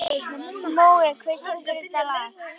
Mói, hver syngur þetta lag?